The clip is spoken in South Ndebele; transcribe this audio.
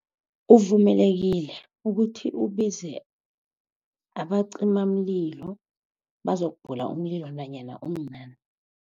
Uvumelekile ukuthi ubize abacimamlilo bazokubhula umlilo nanyana umncani.